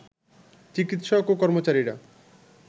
চিকিৎসক ও কর্মচারীরা